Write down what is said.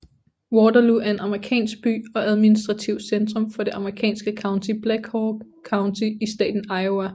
Waterloo er en amerikansk by og administrativt centrum for det amerikanske county Black Hawk County i staten Iowa